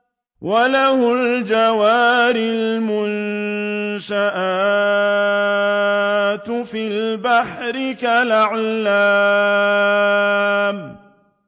وَلَهُ الْجَوَارِ الْمُنشَآتُ فِي الْبَحْرِ كَالْأَعْلَامِ